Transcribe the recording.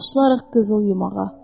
Başlayaraq qızıl yumağa.